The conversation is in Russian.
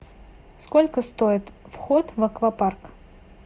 сколько стоит вход в аквапарк